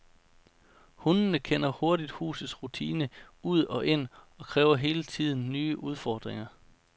Hundene kender hurtigt husets rutine ud og ind og kræver hele tiden nye udfordringer.